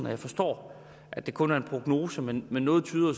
og jeg forstår at det kun er en prognose men men noget tyder